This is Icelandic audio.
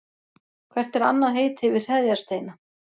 Hvert er annað heiti yfir hreðjarsteina?